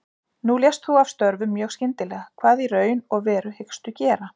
Nú lést þú af störfum mjög skyndilega, hvað í raun og veru hyggstu gera?